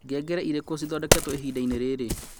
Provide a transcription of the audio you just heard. ngengere ireku cithondeketwo ihinda-inĩ rĩrĩ